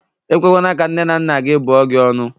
E kwekwana ka nne na nna gị bụọ gị ọnụ!